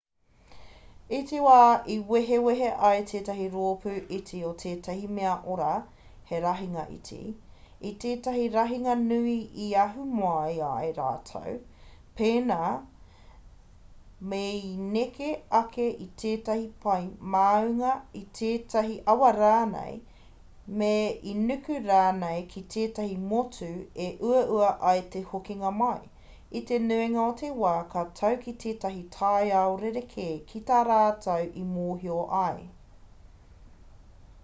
i te wā e wehe ai tētahi roopū iti o ētahi mea ora he rahinga iti i tētahi rahinga nui i ahu mai ai rātou pēnā me i neke ake i ētahi pae māunga i tētahi awa rānei me i nuku rānei ki tētahi motu e uaua ai te hokinga mai i te nuinga o te wā ka tau ki tētahi taiao rerekē ki tā rātou i mōhio ai